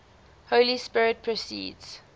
holy spirit proceeds